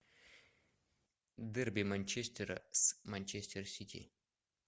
дерби манчестера с манчестер сити